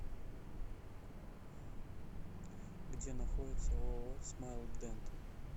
где находится ооо смайлдент